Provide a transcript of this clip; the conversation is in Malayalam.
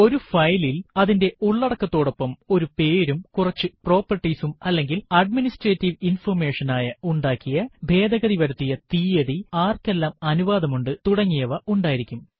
ഒരു ഫയലിൽ അതിന്റെ ഉള്ളടക്കതോടൊപ്പം ഒരു പേരും കുറച്ചു പ്രോപ്പർട്ടീസ് അല്ലെങ്കിൽ അഡ്മിനിസ്ട്രേറ്റീവ് ഇൻഫർമേഷൻ ആയ ഉണ്ടാക്കിയ ഭേദഗതി വരുത്തിയ തീയതി ആര്ക്കെല്ലാം അനുവാദമുണ്ട് തുടങ്ങിയവ ഉണ്ടായിരിക്കും